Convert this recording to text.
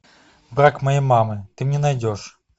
брак моей мамы ты мне найдешь